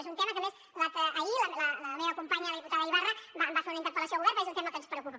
és un tema que a més ahir la meva companya la diputada ibarra en va fer una interpel·lació al govern perquè és un tema que ens preocupa